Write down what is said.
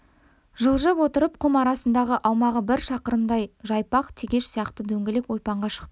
жылжып отырып құм арасындағы аумағы бір шақырымдай жайпақ тегеш сияқты дөңгелек ойпаңға шықты